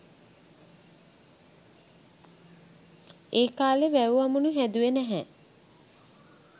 ඒකාලේ වැව් අමුණු හැදුවේ නැහැ